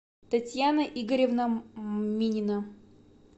татьяна игоревна минина